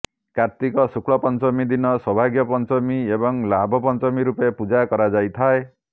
କାର୍ତ୍ତିକ ଶୁକ୍ଳ ପଞ୍ଚମୀ ଦିନ ସୌଭାଗ୍ୟ ପଞ୍ଚମୀ ଏବଂ ଲାଭ ପଞ୍ଚମୀ ରୂପେ ପୂଜା କରାଯାଇଥାଏ